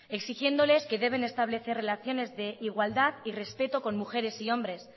exigiéndoles que deben establecer relaciones de igualdad y respeto con mujeres y hombres